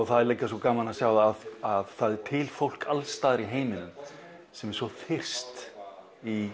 það er líka svo gaman að sjá það að það er til fólk alls staðar í heiminum sem er þyrst í